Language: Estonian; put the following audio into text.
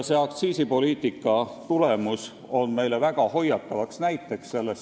See aktsiisipoliitika tulemus on meile väga hoiatavaks näiteks.